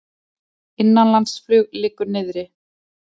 Innanlandsflug liggur niðri